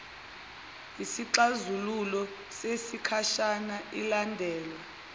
yisixazululo sesikhashana ilandelwa